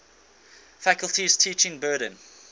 faculty's teaching burden